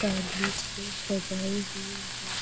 पहले से सजाई हुई है।